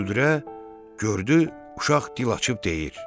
gördü uşaq dil açıb deyir: